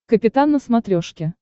капитан на смотрешке